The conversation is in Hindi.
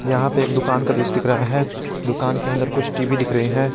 यहां पे एक दुकान का दृश्य दिख रहा है दुकान के अंदर कुछ टी_वी दिख रहे हैं।